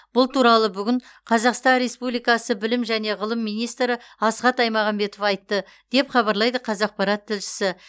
бұл туралы бүгін қазақстан республикасы білім және ғылым министрі асхат аймағамбетов айтты деп хабарлайды қазақпарат тілшісі